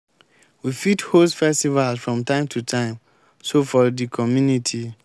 we fit host festivals from time to time so for di community